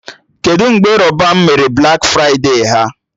Kedụ mgbe Rọban mere Blak fride ha?